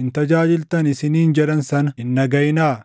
hin tajaajiltan’ isiniin jedhan sana hin dhagaʼinaa.